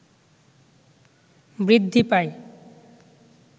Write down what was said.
বৃদ্ধি পায়